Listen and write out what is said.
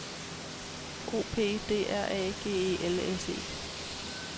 O P D R A G E L S E